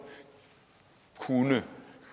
kunne